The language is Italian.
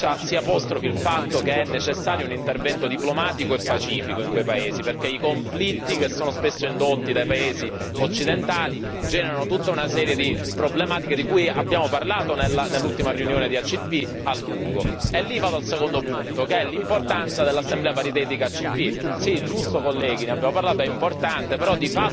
Noi chiederemo il voto elettronico perché si apostrofi il fatto che è necessario un intervento diplomatico e pacifico in quei paesi perché i conflitti, che sono spesso indotti dai paesi occidentali, generano tutta una serie di problematiche di cui abbiamo parlato a lungo nell'ultima riunione ACP. Vado al secondo punto, che è l'importanza dell'Assemblea paritetica ACP. Cari